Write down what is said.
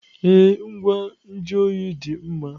Ee, ngwa nju oyi dị mma.